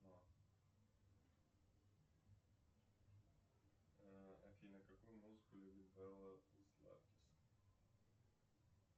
э афина какую музыку любит нр